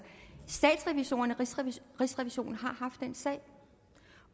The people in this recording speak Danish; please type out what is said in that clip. statsrevisorerne og rigsrevisionen har haft den sag